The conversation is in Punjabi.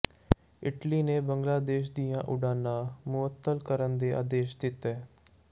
ਇਟਲੀ ਨੇ ਬੰਗਲਾਦੇਸ਼ ਦੀਆਂ ਉਡਾਣਾਂ ਮੁਅੱਤਲ ਕਰਨ ਦੇ ਆਦੇਸ਼ ਦਿੱਤੇ